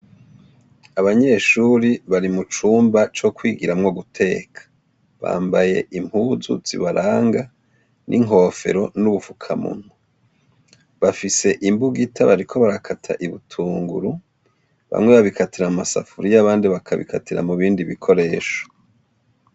Abanyeshuri bari mu cumba co kwigiramwo guteka. Bambaye impuzu zibaranga, n'inkofero n'ubufukamunwa. Bafise imbugita bariko barakata ibitunguru. Bamwe babikatira mu masafuriye abandi bakabikatira mu bindi bikoresho.